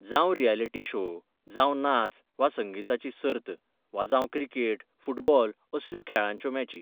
जावं reality show, जावं नाच वा संगिताची सर्त वा जावं क्रिकेट, फुटबॉल असल्यो खेळांच्यो मॅची.